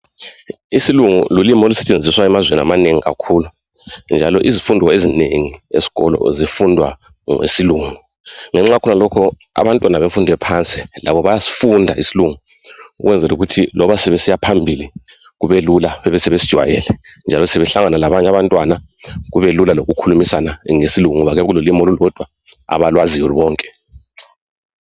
Isilungu lulilmi olusentshenziswa emazweni amanengi kakhulu, njalo izifundo ezinengi esikolo zifundwa ngesilungu. Ngenxa yakhonalokhu abantwana bemfundo yaphansi labo bayasifunda isilungu kwenzela ukuthi loba sebesiyaphambili kubelula sebesijwayele. Njalo sebehlangana labanye abantwana kubelula ukukhulumisana ngoba kuyabe sekululimi abakwaziyo bonke.